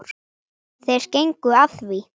Þeir gengu að því.